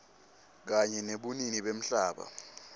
kanye nebunini bemhlaba